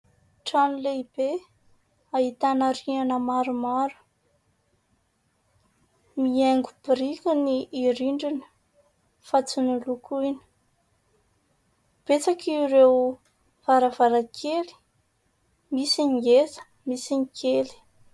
Trano lehibe ahitana rihana maromaro. Mihaingo biriky ny rindrina fa tsy nolokoina. Betsaka ireo varavarankely : misy ny ngeza, misy ny kely.